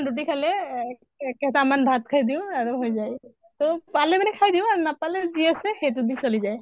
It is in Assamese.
ৰুটি খালে এজ কেইটামান ভাত খাই দিও হৈ যায় আৰু। তʼ পালে মানে খাই দিও নাপালে যি আছে সেইটো দি চলি যায়।